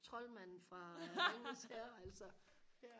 troldmanden fra ringenes herre altså